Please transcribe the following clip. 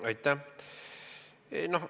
Aitäh!